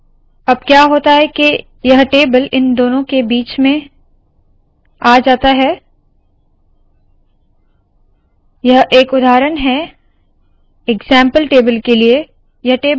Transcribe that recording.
अब क्या होता है के यह टेबल इन दोनों के बीच में आ जाता है यह एक उदाहरण है इग्ज़ैम्पल टेबल के लिए